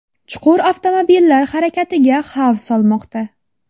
Chuqur avtomobillar harakatiga xavf solmoqda.